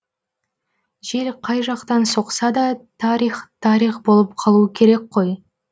жел қай жақтан соқса да тарих тарих болып қалуы керек қой